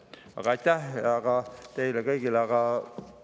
Aga aitäh teile kõigile!